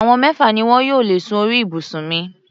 Àwọn mẹ́fà ni wọn yóò lè sùn ní orí ibùsùn mi.